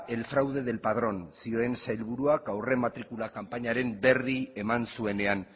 el fraude del padrón zioen sailburuak aurrematrikularen kanpainaren berri eman zuenean